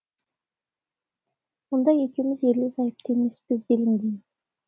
мұнда екеуміз ерлі зайыпты емеспіз делінген